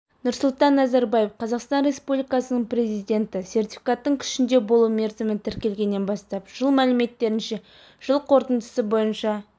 нұрсұлтан назарбаев қазақстан республикасының президенті сертификаттың күшінде болу мерзімі тіркелгеннен бастап жыл мәліметтерінше жыл қорытындысы бойынша